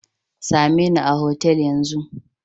Sa me ni a hotel Yan zun.